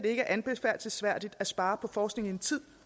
ikke er anbefalelsesværdigt at spare på forskning i en tid